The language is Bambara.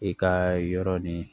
I ka yɔrɔ ni